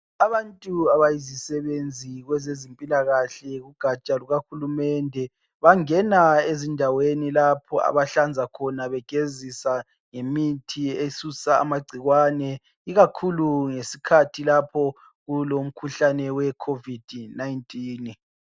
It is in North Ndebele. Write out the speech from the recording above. Abantu abayizisebenzi kwezempilakahle kugaja lukahulumende bangena ezindaweni lapho abahlanza khona begezisa ngemithi esusa amagcikwane ikakhulu ngesikhathi lapho kulomkhuhlane we COVID-19.